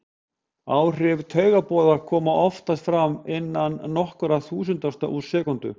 Áhrif taugaboða koma oftast fram innan nokkurra þúsundustu úr sekúndu.